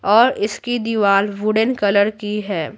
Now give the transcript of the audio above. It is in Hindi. और इसकी दीवार वुडेन कलर की है।